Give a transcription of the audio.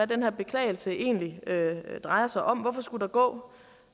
den her beklagelse egentlig drejer sig om hvorfor skulle der gå